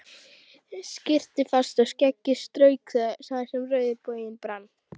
Skyrpti fast og skeggið strauk þar sem rauður loginn brann.